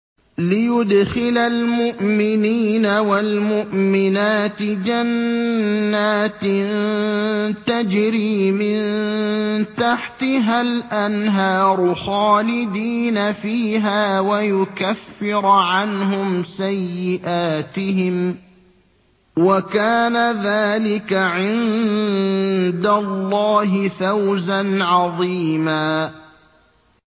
لِّيُدْخِلَ الْمُؤْمِنِينَ وَالْمُؤْمِنَاتِ جَنَّاتٍ تَجْرِي مِن تَحْتِهَا الْأَنْهَارُ خَالِدِينَ فِيهَا وَيُكَفِّرَ عَنْهُمْ سَيِّئَاتِهِمْ ۚ وَكَانَ ذَٰلِكَ عِندَ اللَّهِ فَوْزًا عَظِيمًا